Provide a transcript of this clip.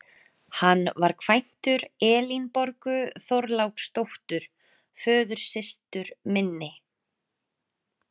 Hann var kvæntur Elínborgu Þorláksdóttur, föðursystur minni.